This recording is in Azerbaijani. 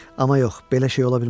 Amma yox, belə şey ola bilməz.